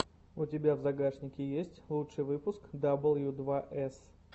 у тебя в загашнике есть лучший выпуск дабл ю два эс